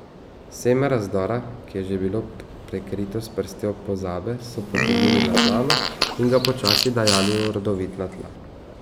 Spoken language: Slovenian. Seme razdora, ki je že bilo prekrito s prstjo pozabe, so potegnili na plano in ga počasi dajali v rodovitna tla.